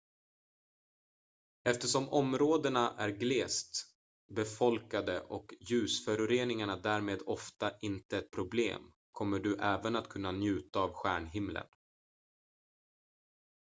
eftersom områdena är glest befolkade och ljusföroreningar därmed ofta inte ett problem kommer du även att kunna njuta av stjärnhimlen